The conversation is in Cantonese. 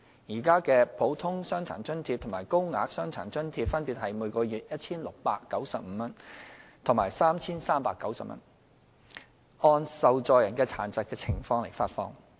現時的"普通傷殘津貼"及"高額傷殘津貼"分別為每月 1,695 元及 3,390 元，按受助人的殘疾情況發放。